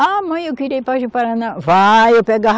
Ah, mãe, eu queria ir para o Ji-Paraná. Vai, eu pegava